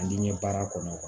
A diɲɛ baara kɔnɔ